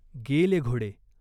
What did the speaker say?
गेले घोडे.